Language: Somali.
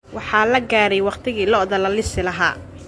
Waxaa la gaaray waqtigii lo'da la lisi lahaa